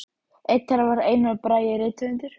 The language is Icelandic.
Einn þeirra var Einar Bragi rithöfundur.